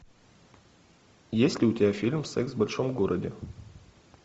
есть ли у тебя фильм секс в большом городе